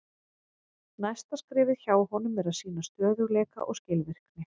Næsta skrefið hjá honum er að sýna stöðugleika og skilvirkni.